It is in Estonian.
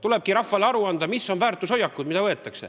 Tulebki rahvale aru anda, millised väärtushoiakud võetakse.